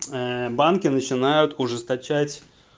банки начинают ужесточать